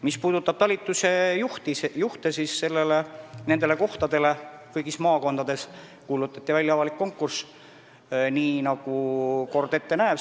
Mis puudutab talituste juhte, siis nendele kohtadele kuulutati kõigis maakondades välja avalik konkurss, nii nagu kord ette näeb.